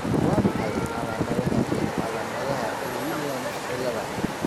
Waa maxay calaamadaha iyo calaamadaha Williams cilada?